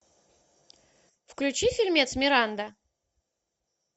включи фильмец миранда